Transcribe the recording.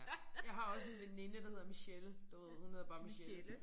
Ja jeg har også en veninde der hedder Michelle. Du ved hun hedder bare Michelle